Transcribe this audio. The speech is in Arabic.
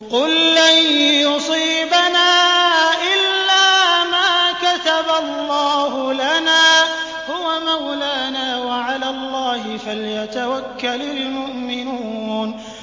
قُل لَّن يُصِيبَنَا إِلَّا مَا كَتَبَ اللَّهُ لَنَا هُوَ مَوْلَانَا ۚ وَعَلَى اللَّهِ فَلْيَتَوَكَّلِ الْمُؤْمِنُونَ